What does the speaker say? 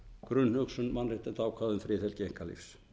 grunnhugsun mannréttindaákvæða um friðhelgi einkalífs